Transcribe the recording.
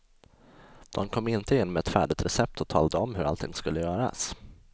De kom inte in med ett färdigt recept och talade om hur allting skulle göras.